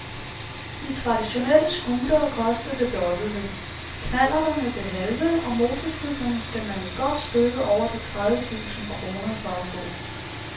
De traditionelle scootere koster det dobbelte, knallerterne det halve og motorcyklerne skal man et godt stykke over de tredive tusinde kroner for at få.